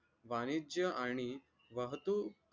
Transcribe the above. बानीच्य आणि वाहतूक